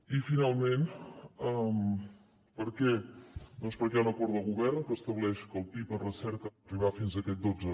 i finalment per què doncs perquè hi ha un acord de govern que estableix que el pib en recerca ha d’arribar fins a aquest dotze